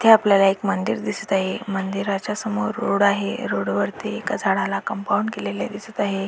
इथे आपल्याला एक मंदिर दिसत आहे मंदिराच्या समोर रोड आहे रोडवरती एका झाडाला कंपाऊंड केलेले आहे.